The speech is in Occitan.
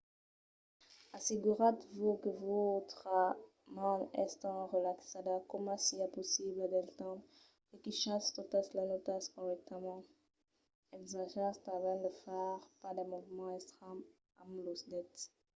asseguratz-vos que vòstra man es tan relaxada coma siá possible del temps que quichatz totas las nòtas corrèctament - ensajatz tanben de far pas de movements estranhs amb los dets